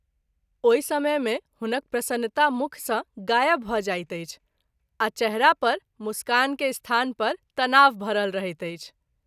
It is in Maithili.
ओहि समय मे हुनक प्रसन्नता मुख सँ गायब भ’ जाइत अछि आ चेहरा पर मुस्कान के स्थान पर तनाव भरल रहैत अछि।